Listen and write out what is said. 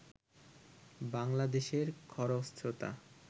বাংলাদেশের খরস্রোতা